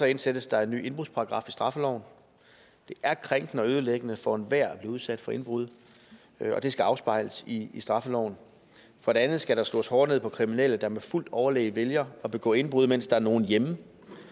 indsættes der en ny indbrudsparagraf i straffeloven det er krænkende og ødelæggende for enhver at blive udsat for indbrud og det skal afspejles i straffeloven for det andet skal der slås hårdere ned på kriminelle der med fuldt overlæg vælger at begå indbrud mens der er nogen hjemme